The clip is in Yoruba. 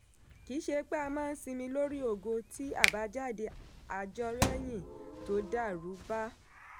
kì í ṣe pé a máa sinmi lórí ògo tí abájáde àjọrẹ́yìn tó dàrú bá.